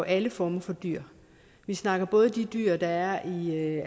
alle former for dyr vi snakker både om de dyr der er i